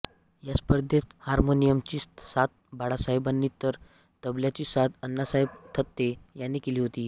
या स्पर्धेत हार्मोनियमची साथ बाळासाहेबांनी तर तबल्याची साथ अण्णासाहेब थत्ते यांनी केली होती